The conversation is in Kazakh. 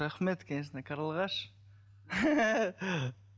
рахмет конечно қарлығаш